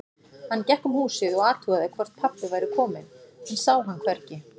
Hann gekk um húsið og athugaði hvort pabbi væri kominn, en sá hann hvergi.